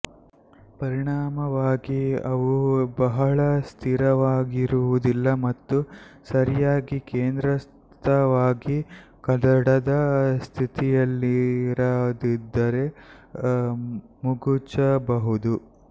ಪರಿಣಾಮವಾಗಿ ಅವು ಬಹಳ ಸ್ಥಿರವಾಗಿರುವುದಿಲ್ಲ ಮತ್ತು ಸರಿಯಾಗಿ ಕೇಂದ್ರಸ್ಥವಾಗಿ ಕದಡದ ಸ್ಥಿತಿಯಲ್ಲಿರದಿದ್ದರೆ ಮಗುಚಬಹುದು